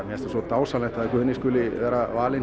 finnst svo dásamlegt að Guðni skuli vera valinn